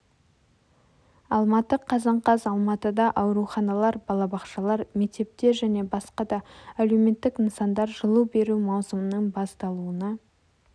алматы қазан қаз алматыда ауруханалар балабақшалар мектептер және басқа да әлеуметтік нысандар жылу беру маусымының басталуына